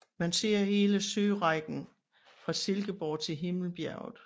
Man ser hele sørækken fra Silkeborg til Himmelbjerget